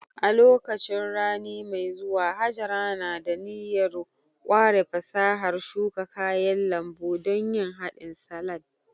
A lokacin rani mai zuwa, Hajara na da niyyar ƙware fasahar shuka kayan lambu don yin hadin salad